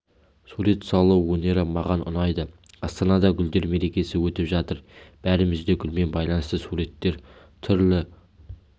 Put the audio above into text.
сурет салу өнері маған ұнайды астанада гүлдер мерекесі өтіп жатыр бәріміз де гүлмен байланысты суреттер түрлі